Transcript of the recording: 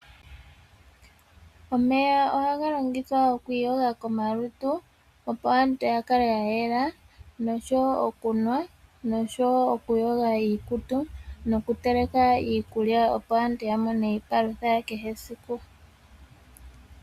Omeya ohaga longithwa oku iyoga komalutu opo aantu ya kale ya yela noshowo okunwa, noshowo oku yoga iikutu noku teleka iikulya, opo aantu ya mone iipalutha ya kehe esiku.